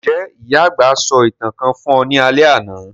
Njẹ́ ìyà-àgbà sọ ​​ìtàn kan fun ọ ni alẹ́ àná?